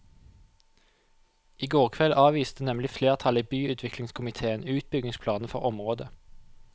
I går kveld avviste nemlig flertallet i byutviklingskomitéen utbyggingsplanene for området.